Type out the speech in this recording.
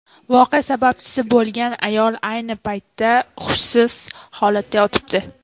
Voqea sababchisi bo‘lgan ayol ayni paytda hushsiz holatda yotibdi.